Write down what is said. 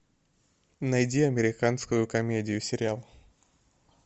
найди американскую комедию сериал